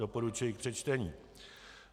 Doporučuji k přečtení.